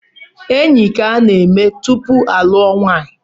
Enyi ka a na-eme tupu alụọ nwanyi